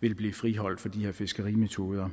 vil blive friholdt for de her fiskerimetoder